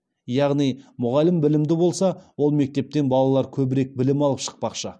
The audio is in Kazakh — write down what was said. яғни мұғалім білімді болса ол мектептен балалар көбірек білім алып шықпақшы